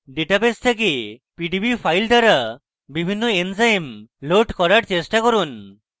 database থেকে PDB files দ্বারা বিভিন্ন এনজাইম load করার চেষ্টা করুন